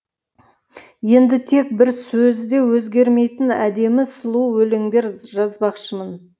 енді тек бір сөзі де өзгермейтін әдемі сұлу өлеңдер жазбақшымын